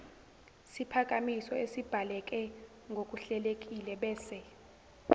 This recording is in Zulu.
siphakamiso esibhaleke ngokuhlelekilebese